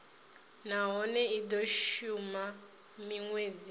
nahone i do shuma minwedzi